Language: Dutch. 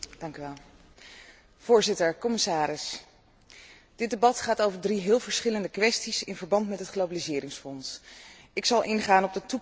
Voorzitter, commissaris, dit debat gaat over drie heel verschillende kwesties in verband met het Globaliseringsfonds. Ik zal ingaan op de toekomst van het Fonds na